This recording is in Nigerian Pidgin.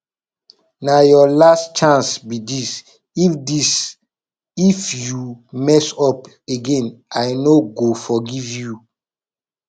na your last chance be dis if dis if you mess up again i no go forgive you